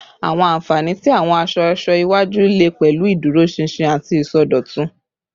Awọn anfani ti awọn aṣọ-aṣọ iwaju le pẹlu iduroṣinṣin ati isọdọtun